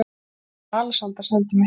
Gæðakonan Alexandra sendi mig heim.